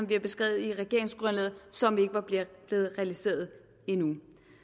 bliver beskrevet i regeringsgrundlaget som ikke var blevet realiseret endnu